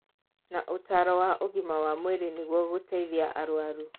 Na ũtaaro wa ũgima wa mwĩrĩ nĩguo gũteithia arũaru